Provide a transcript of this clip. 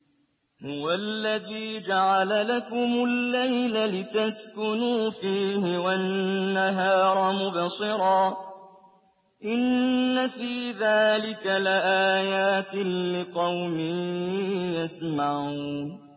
هُوَ الَّذِي جَعَلَ لَكُمُ اللَّيْلَ لِتَسْكُنُوا فِيهِ وَالنَّهَارَ مُبْصِرًا ۚ إِنَّ فِي ذَٰلِكَ لَآيَاتٍ لِّقَوْمٍ يَسْمَعُونَ